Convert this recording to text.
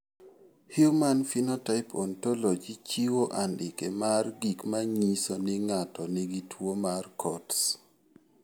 Human Phenotype Ontology chiwo andike mar gik ma nyiso ni ng'ato nigi tuwo mar Coats.